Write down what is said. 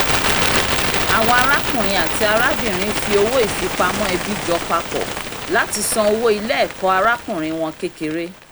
àwọn arákùnrin àti arábìnrin fi owó ìfipamọ́ ẹbí jọ papọ̀ láti san owó ilé-ẹ̀kọ́ arákùnrin wọn kékeré